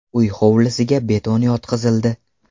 Uy hovlisiga beton yotqizildi.